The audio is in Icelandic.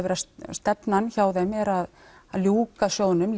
stefnan hjá þeim er að ljúka sjóðnum